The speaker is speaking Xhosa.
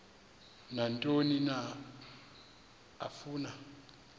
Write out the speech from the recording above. nantoni na afuna